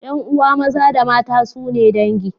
Yan'uwa maza da mata sune dangi.